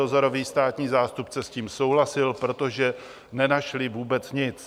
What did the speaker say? Dozorový státní zástupce s tím souhlasil, protože nenašli vůbec nic.